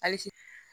Hali sini